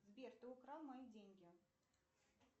сбер ты украл мои деньги